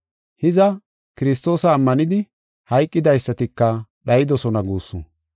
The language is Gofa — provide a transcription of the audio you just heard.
Hiza, Kiristoosa ammanidi hayqidaysatika dhayidosona guussu.